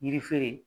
Yiri feere